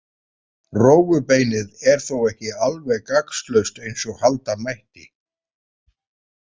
Rófubeinið er þó ekki alveg gagnslaust eins og halda mætti.